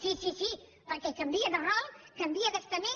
sí sí perquè canvia de rol canvia d’estament